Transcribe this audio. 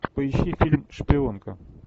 поищи фильм шпионка